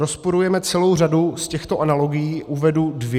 Rozporujeme celou řadu z těchto analogií, uvedu dvě.